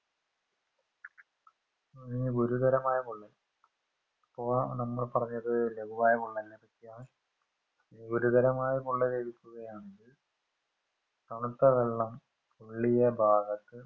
ഇനി ഗുരുതരമായ പൊള്ളൽ ഇപ്പോ നമ്മ പറഞ്ഞത് ലകുവായ പൊള്ളൽനെ പറ്റിയാണ് ഇനി ഗുരുതരമായ പൊള്ളലേക്കുകയാണെങ്കിൽ തണുത്തവെള്ളം പൊള്ളിയഭാഗത്